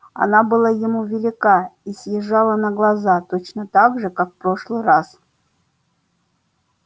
она была ему велика и съезжала на глаза точно так же как в прошлый раз